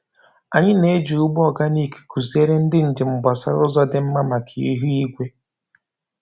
Anyị na-eji ugbo oganik kụziere ndị njem gbasara ụzọ dị mma maka ihu igwe.